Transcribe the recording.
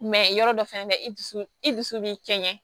yɔrɔ dɔ fɛnɛ bɛ i dusu i dusu bi cɛ ɲɛ